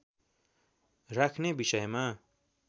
राख्ने विषयमा